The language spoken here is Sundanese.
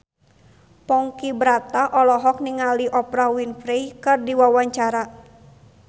Ponky Brata olohok ningali Oprah Winfrey keur diwawancara